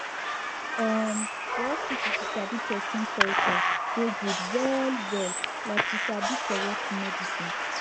em for hospital to sabi person culture dey good well well like to sabi correct medicine